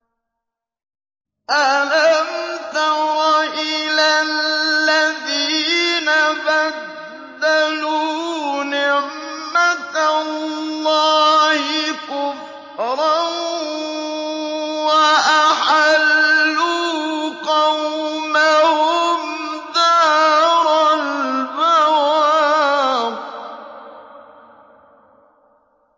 ۞ أَلَمْ تَرَ إِلَى الَّذِينَ بَدَّلُوا نِعْمَتَ اللَّهِ كُفْرًا وَأَحَلُّوا قَوْمَهُمْ دَارَ الْبَوَارِ